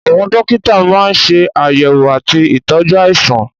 Àwọn dókítà máa ń ṣe àyẹ̀wò àti ìtọ́jú àìsàn